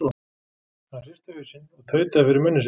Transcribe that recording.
Hann hristi hausinn og tautaði fyrir munni sér